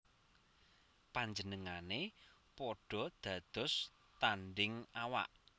Panjenengané padha dados tandhing awak